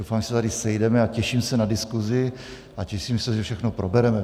Doufám, že se tady sejdeme, a těším se na diskusi a těším se, že všechno probereme.